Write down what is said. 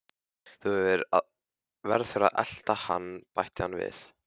Þú verður að elta hann bætti hann við.